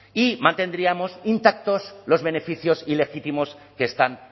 y mantendríamos intactos los beneficios ilegítimos que están